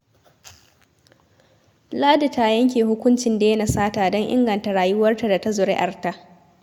Ladi ta yanke hukuncin daina sata don inganta rayuwarta da ta zuri'arta